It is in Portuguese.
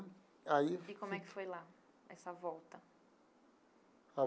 Aí. E como é que foi lá, essa volta?